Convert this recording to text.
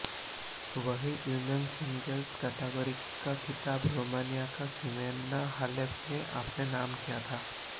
वहीं women's singles category का खिताब रोमानिया की सिमोना हालेप ने अपने नाम किया था